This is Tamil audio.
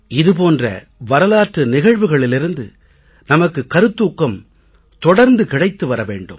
இது போன்ற வரலாற்று நிகழ்வுகளிலிருந்து நமக்கு கருத்தூக்கம் தொடர்ந்து கிடைத்து வர வேண்டும்